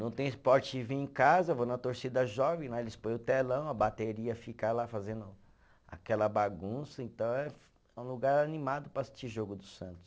Não tem esporte de vir em casa, eu vou na torcida jovem, lá eles põem o telão, a bateria fica lá fazendo aquela bagunça, então é, é um lugar animado para assistir o jogo do Santos.